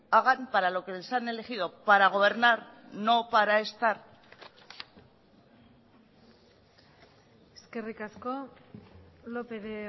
hagan para lo que les han elegido para gobernar no para estar eskerrik asko lópez de